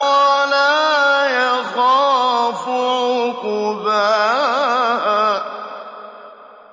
وَلَا يَخَافُ عُقْبَاهَا